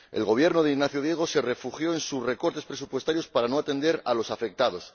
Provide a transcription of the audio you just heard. El Gobierno regional de Ignacio Diego se refugió en sus recortes presupuestarios para no atender a los afectados.